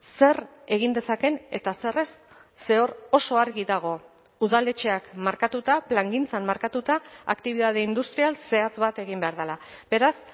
zer egin dezakeen eta zer ez ze hor oso argi dago udaletxeak markatuta plangintzan markatuta aktibitate industrial zehatz bat egin behar dela beraz